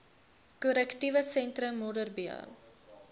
korrektiewe sentrum modderbee